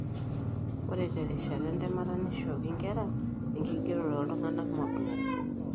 ore terishata entemata neishooki inkera enkigerore ooltung'anak modook.